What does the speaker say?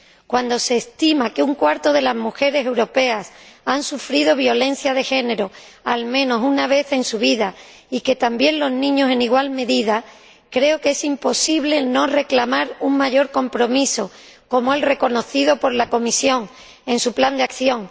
Cuando se estima que una de cada cuatro mujeres europeas ha sufrido violencia de género al menos una vez en su vida, y también los niños en igual medida, creo que es imposible no reclamar un mayor compromiso, como el reconocido por la Comisión en su plan de acción.